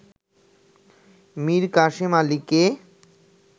মীর কাসেম আলীকে